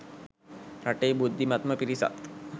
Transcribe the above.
රටේ බුද්ධිමත්ම පිරිසත්